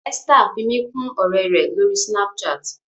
Esther fí mí kún òré rẹ l'ori Snapchat.